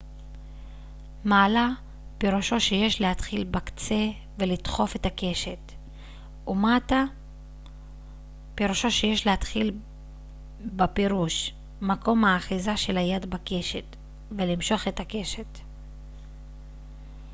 מעלה פירושו שיש להתחיל בקצה ולדחוף את הקשת ומטה פירושו שיש להתחיל בפרוש מקום האחיזה של היד בקשת ולמשוך את הקשת